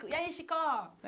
E aí, Chicó?